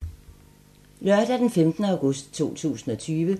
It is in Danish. Lørdag d. 15. august 2020